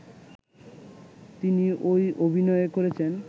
তিনি ঐ অভিনয় করেছেন